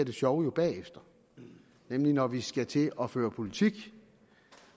det sjove jo bagefter nemlig når vi skal til at føre politik